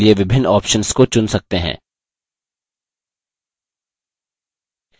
यहाँ आप आयत को बदलने के लिए विभिन्न options को चुन सकते हैं